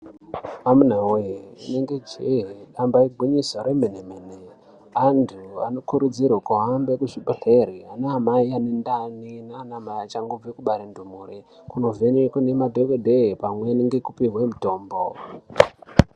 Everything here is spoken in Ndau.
Amuna voye rinenge njee damba igwinyiso remene-mene. Antu anokurudzirwe kuhambe kuzvibhedhlere ana mai ane ndani nana amai achangobve kubare ndumure kunovhenekwe nemadhogodheye pamweni ngekupihwe mutombo.